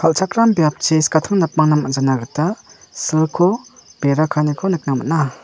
kal·chakram biapchi skatang napangna man·jana gita silko bera kaaniko nikna man·a.